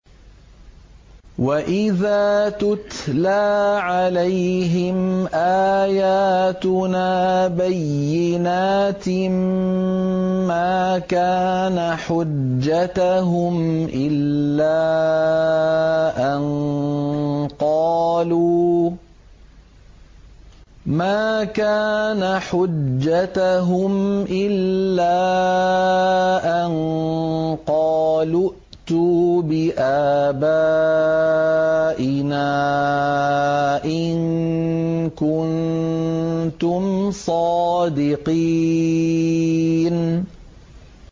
وَإِذَا تُتْلَىٰ عَلَيْهِمْ آيَاتُنَا بَيِّنَاتٍ مَّا كَانَ حُجَّتَهُمْ إِلَّا أَن قَالُوا ائْتُوا بِآبَائِنَا إِن كُنتُمْ صَادِقِينَ